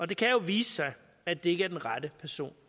det kan jo vise sig at det ikke er den rette person